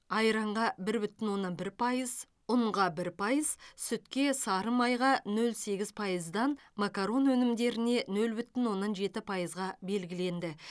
айранға бір бүтін оннан бір пайыз ұнға бір пайыз сүтке сары майға нөл сегіз пайыздан макарон өнімдеріне нөл бүтін оннан жеті пайызға белгіленді